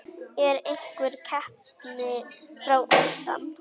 Er einhver keppni fram undan?